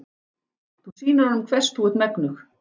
Þú sýnir honum hvers þú ert megnug.